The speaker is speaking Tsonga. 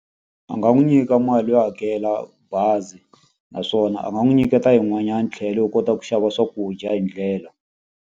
A nga n'wi nyika mali yo hakela bazi, naswona a nga n'wi nyiketa yin'wanyana tlhelo yo kota ku xava swakudya hi ndlela.